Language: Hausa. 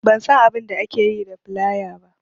Ban san abainda ake yi da filaya ba